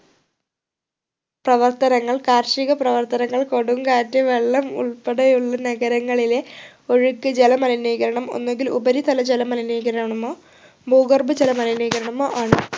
പ്രവർത്തനങ്ങൾ കാർഷിക പ്രവർത്തനങ്ങൾ കൊടുങ്കാറ്റ് വെള്ളം ഉൾപ്പെടെയുള്ള നഗരങ്ങളിലെ ഒഴുക്ക് ജല മലിനീകരണം ഒന്നുകിൽ ഉപരിതല ജല മലിനീകരണമോ ഭൂഗര്‍ഭജലം മലിനീകരണമോ ആണ്